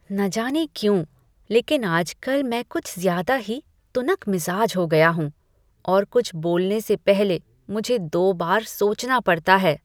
न जाने क्यों, लेकिन आजकल मैं कुछ ज्यादा ही तुनकमिजाज हो गया हूँ और कुछ बोलने से पहले मुझे दो बार सोचना पड़ता है।